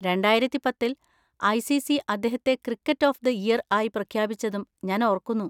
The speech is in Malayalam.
രണ്ടായിരത്തി പത്തിൽ ഐ. സി. സി അദ്ദേഹത്തെ 'ക്രിക്കറ്റർ ഓഫ് ദ ഇയർ' ആയി പ്രഖ്യാപിച്ചതും ഞാൻ ഓർക്കുന്നു.